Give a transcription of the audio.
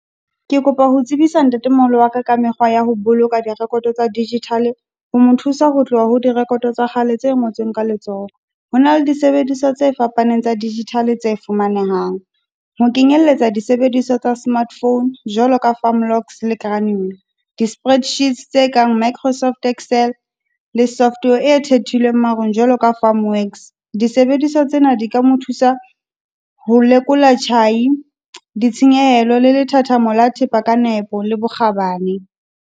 Ke kopa ho tsebisa ntatemoholo wa ka ka mekgwa ya ho boloka di record-o tsa digital, ho mo thusa ho tloha ho di record-o tsa kgale tse ngotsweng ka letsoho. Ho na le disebediswa tse fapaneng tsa digital tse fumanehang, ho kenyelletsa disebediswa tsa smart phone, jwalo ka firm lock . Di-spread sheets tse kang Microsoft-excel le software e thehilweng marong jwalo ka , disebediswa tsena di ka mo thusa ho lekola tjhai, ditshenyehelo le lethathamo le thepa ka nepo, ka bokgabane.